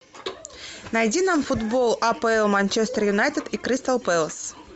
найди нам футбол апл манчестер юнайтед и кристал пэлас